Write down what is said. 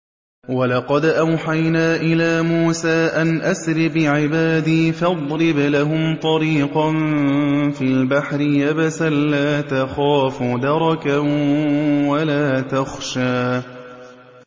وَلَقَدْ أَوْحَيْنَا إِلَىٰ مُوسَىٰ أَنْ أَسْرِ بِعِبَادِي فَاضْرِبْ لَهُمْ طَرِيقًا فِي الْبَحْرِ يَبَسًا لَّا تَخَافُ دَرَكًا وَلَا تَخْشَىٰ